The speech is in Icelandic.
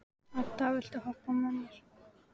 Edda, viltu hoppa með mér?